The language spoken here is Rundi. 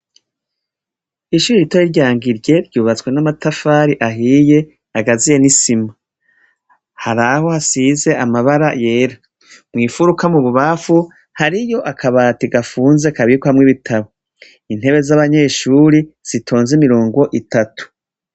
Ishuri ritoya rya Ngirye ryubatswe n'amatafari ahiye agaziye n'isima, haraho hasize amabara yera mwifuruka mu bubafu hariyo akabati gafunze kabikwamwo ibitabo, intebe z'abanyeshuri zitonze imirongo itatu.